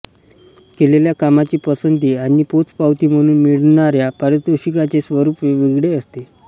केलेल्या कामाची पसंती आणि पोचपावती म्हणून मिळणाऱ्या पारितोषिकांचे स्वरूप वेगवेगळे असते